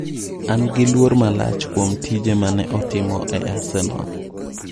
An gi luor malach kuom tije mane otimo e arsenal.